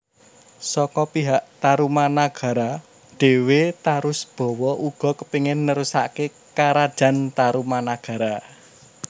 Saka pihak Tarumanagara dhéwé Tarusbawa uga kepingin nerusaké Karajan Tarumanagara